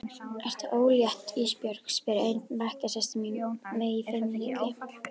Ertu ólétt Ísbjörg, spyr ein bekkjarsystir mín mig í leikfimi.